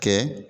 Kɛ